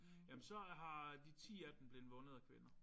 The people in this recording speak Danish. Jamen så har de 10 af dem blevet vundet af kvinder